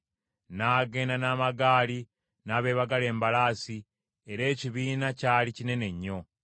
N’agenda n’amagaali n’abeebagala embalaasi era ekibiina kyali kinene nnyo.